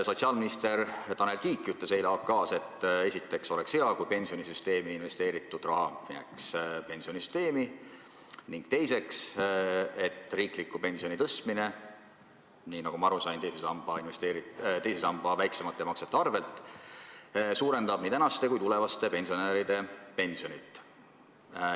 Sotsiaalminister Tanel Kiik ütles eile "AK-s", et esiteks oleks hea, kui pensionisüsteemi investeeritud raha jääks pensionisüsteemi, ning teiseks, et riikliku pensioni tõstmine, nii nagu ma aru sain, teise samba väiksemate maksete arvel suurendab nii praeguste kui tulevaste pensionäride pensioni.